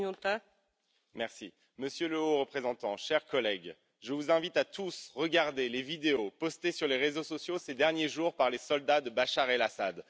Madame la Présidente, monsieur le Haut représentant, cher collègue, je vous invite tous à regarder les vidéos postées sur les réseaux sociaux ces derniers jours par les soldats de Bachar El Assad.